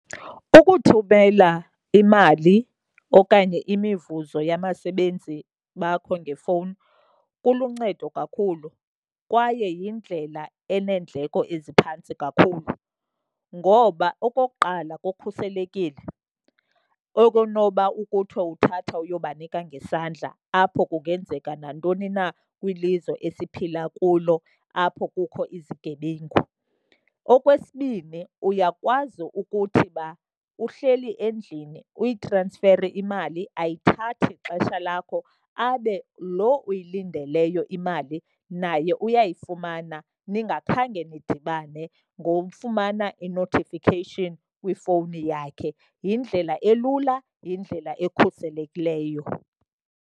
Ukuthumela imali okanye imivuzo yabasebenzi bakho ngefowuni kuluncedo kakhulu kwaye yindlela eneendleko eziphantsi kakhulu. Ngoba okokuqala, kukhuselekile okonoba kuthi uthatha uyobanika ngesandla, apho kungenzeka nantoni na kwilizwe esiphila kulo apho kukho izigebengu. Okwesibini, uyakwazi ukuthi uba uhleli endlini uyitransfere imali, ayithathi xesha lakho. Abe lo uyilindeleyo imali naye uyayifumana ningakhange nidibane, ngokufumana i-notification kwifowuni yakhe. Yindlela elula, yindlela ekhuselekileyo.